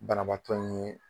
Banabaatɔ ni